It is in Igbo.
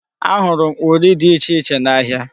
Ahụrụ m uri dị ichè iche n'ahịa.